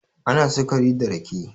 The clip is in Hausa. ana sukari da rake